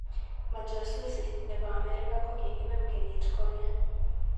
Majajusi nebo Amerika kokikinam kenyit konye.